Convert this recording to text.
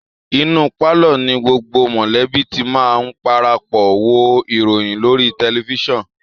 Inú pálọ̀ọ̀ ni gbogbo mọ̀lẹ́bí ti máa ń parapọ̀ wo ìròyìn lórí tẹlifiṣàn